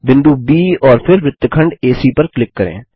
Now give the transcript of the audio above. बिंदु ब और फिर वृत्तखंड एसी पर क्लिक करें